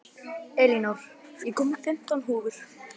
Elinór, ég kom með fimmtán húfur!